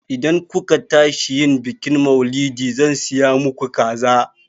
Idan ku ka tashi yin bikin maulidi, zan siya maku kaza